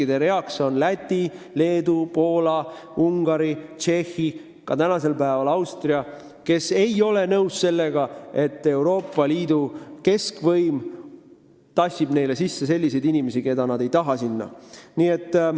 Need riigid on Läti, Leedu, Poola, Ungari, Tšehhi, nüüd ka Austria, kes ei ole nõus sellega, et Euroopa Liidu keskvõim surub neile peale inimesi, keda nad sinna ei taha.